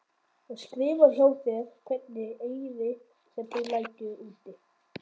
Og skrifar hjá þér hvern eyri sem þú lætur úti?